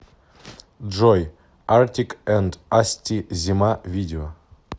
джой артик энд асти зима видео